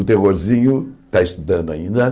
O terrorzinho está estudando ainda.